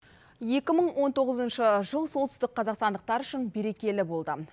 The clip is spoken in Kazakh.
екі мың он тоғызыншы жыл солтүстік қазақстандықтар үшін берекелі болды